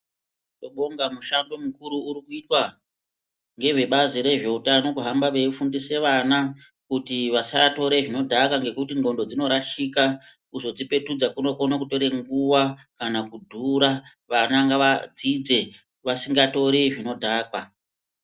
Tinobonga mushando mukuru uri kuitwa ngevebazi rezveutano kuhamba veifundise vana kuti vasatore zvinodhaka ngekuti ndxondo dzinorashika kuzodzipetudza kunokone kutore nguwa kana kudhura vana ngavadzidze vasingatori zvinodhaka.